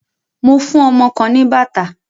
Mo fún ọmọ kan ní bàtà.